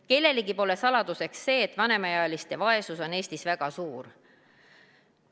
Kellelegi pole saladuseks see, et vanemaealiste vaesus on Eestis väga suur.